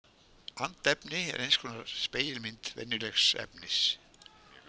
Andefni er eins konar spegilmynd venjulegs efnis.